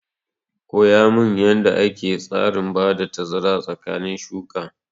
Koya min yanda ake tsarin bada tazara tsakanin shuka!